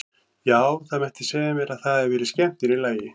Já, það mætti segja mér að það hafi verið skemmtun í lagi!